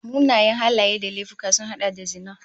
Munanan halaye da laifuka sun hada da zina